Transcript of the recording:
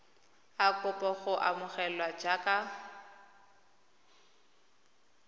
a kopa go amogelwa jaaka